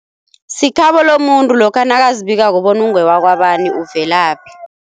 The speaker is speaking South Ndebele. Sikhabo lomuntu lokha nakazibikako bona ungewakwabani uvelaphi.